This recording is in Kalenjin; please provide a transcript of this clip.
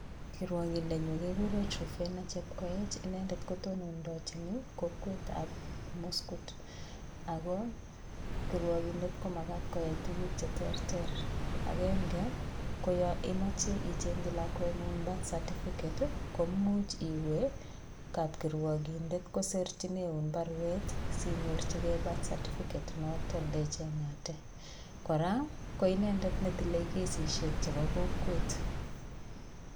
Kirwakindenyu kekure Truphena Chepkoech inendet kotonondochin ii kokwetab muskut, ako kirwokindet ko makat koyai tuguk che terter, akenge ko yo imoche ichengchi lakwengung birth certificate ii, komuch iwe kapkirwokindet kosirchineun baruet si nyorchikei birth certificate inoto ndechengate, kora ko inendet netile kesishek chebo kokwet.